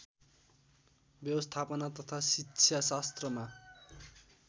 व्यवस्थापन तथा शिक्षाशास्त्रमा